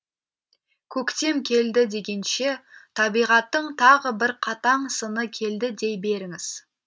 көктем келді дегенше табиғаттың тағы бір қатаң сыны келді дей беріңіз